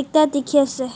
ekta dikhiase.